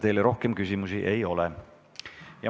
Teile rohkem küsimusi ei ole.